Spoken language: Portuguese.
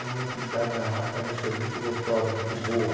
A minha atividade na rádio também foi muito gostosa, muito boa.